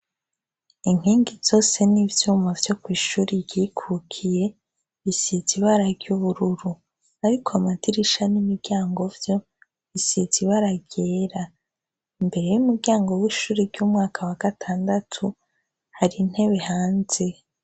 Inkingi zose n’ivyuma vyo kw’ishure ryikukiye bisize ibara ry’ubururu ariko amdirisha n’imiryango vyo bisize ibara ryera, imbere y’umuryango w’ishure ry’umwaka wa gatandatu hari intebe hanze.